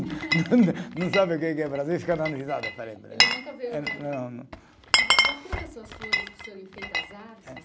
Não sabe o que que é Brasil e fica dando risada. Ele nunca veio para. Não, não. E voltando às suas flores que o senhor enfeita as árvores